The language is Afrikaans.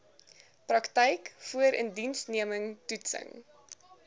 praktyk voorindiensneming toetsing